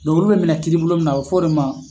be minɛ kini bolo mun na , a bi f'o de ma